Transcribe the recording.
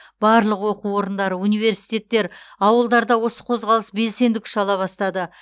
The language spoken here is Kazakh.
барлық оқу орындары университеттер ауылдарда осы қозғалыс белсенді күш ала бастады